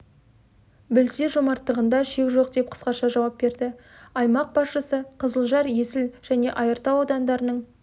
білсе жомарттығында шек жоқ деп қысқаша жауап берді аймақ басшысы қызылжар есіл және айыртау аудандарының